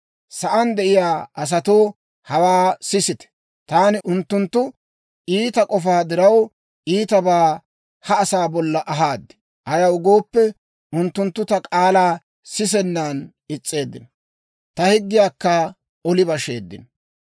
Sa'aan de'iyaa asatoo, hawaa sisite! Taani unttunttu iita k'ofaa diraw, iitabaa ha asaa bolla ahaad. Ayaw gooppe, unttunttu ta k'aalaa sisennan is's'eeddino; ta higgiyaakka oli basheeddino.